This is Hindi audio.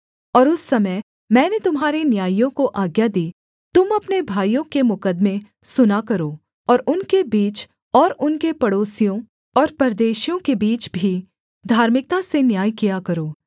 और उस समय मैंने तुम्हारे न्यायियों को आज्ञा दी तुम अपने भाइयों के मुकद्दमे सुना करो और उनके बीच और उनके पड़ोसियों और परदेशियों के बीच भी धार्मिकता से न्याय किया करो